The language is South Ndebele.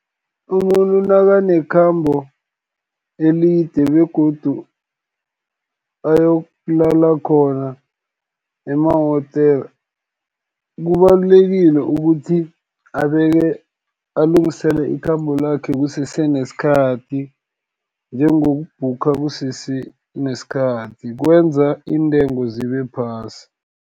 Umuntu nakanekhambo elide, begodu ayokulala khona emahotela, kubalulekile ukuthi alungisele ikhambo lakhe kusese nesikhathi, njengokubhuga kusese nesikhathi kwenza iintengo zibephasi.